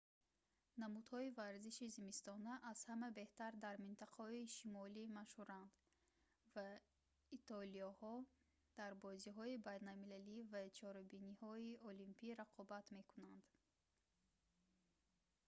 намудҳои варзиши зимистона аз ҳама беҳтар дар минтақаҳои шимолӣ машҳуранд ва итолиёҳо дар бозиҳои байналмилалӣ ва чорабиниҳои олимпӣ рақобат мекунанд